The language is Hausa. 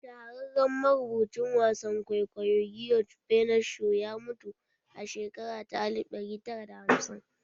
Shahararren marubucin wasan kwaikwayo George Bernard Shaw ya mutu a shekara ta alif ɗari da hamsin